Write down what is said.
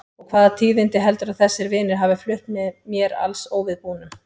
Og hvaða tíðindi heldurðu að þessir vinir hafi flutt mér alls óviðbúnum?